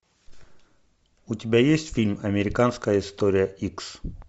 у тебя есть фильм американская история икс